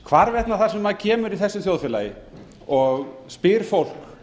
hvarvetna þar sem maður kemur í þessu þjóðfélagi og spyr fólk